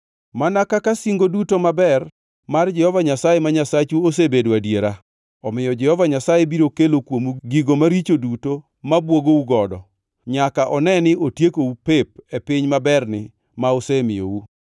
Mana kaka singo duto maber mar Jehova Nyasaye ma Nyasachu osebedo adiera, omiyo Jehova Nyasaye biro kelo kuomu gigo maricho duto mobwogou godo, nyaka one ni otiekou pep e piny maberni ma osemiyou.